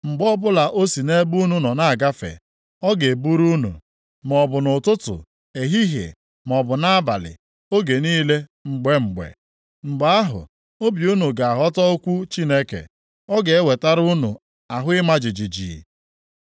Mgbe ọbụla o si nʼebe unu nọ na-agafe, ọ ga-eburu unu, maọbụ nʼụtụtụ, ehihie, maọbụ nʼabalị, oge niile, mgbe mgbe.” Mgbe ahụ, obi unu ga-aghọta okwu Chineke; ọ ga-ewetara unu ahụ ịma jijiji.